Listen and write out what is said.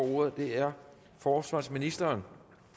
ordet er forsvarsministeren